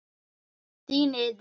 Þín Iðunn.